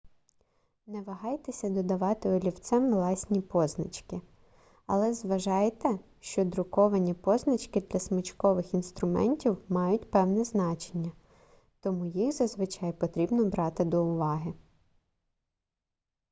не вагайтеся додавати олівцем власні позначки але зважайте що надруковані позначки для смичкових інструментів мають певне значення тому їх зазвичай потрібно брати до уваги